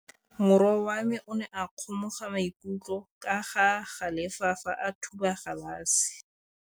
Morwa wa me o ne a kgomoga maikutlo ka go galefa fa a thuba galase.